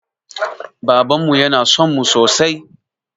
Babanmu yana sonmu sosai